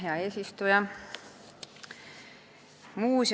Hea eesistuja!